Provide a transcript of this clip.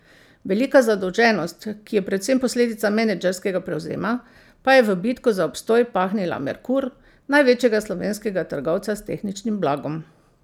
Velika zadolženost, ki je predvsem posledica menedžerskega prevzema, pa je v bitko za obstoj pahnila Merkur, največjega slovenskega trgovca s tehničnim blagom.